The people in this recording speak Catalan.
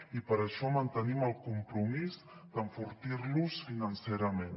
i per això mantenim el compromís d’enfortir los financerament